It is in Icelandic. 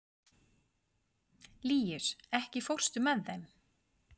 Líus, ekki fórstu með þeim?